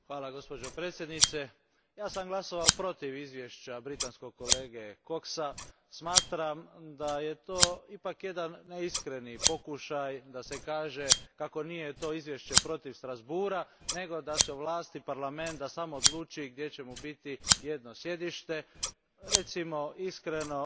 hvala gospođo predsjednice, ja sam glasovao protiv izvješća britanskog kolege Coxa, smatram da je to ipak jedan neiskreni pokušaj da se kaže kako to nije izvještaj protiv Strasbourga nego da se Parlament sam odluči gdje će mu biti jedno sjedište, recimo iskreno